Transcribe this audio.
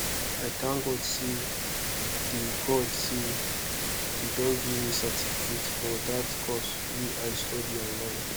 i thank god say dey god say dey don give me certificate for dat course wey i study online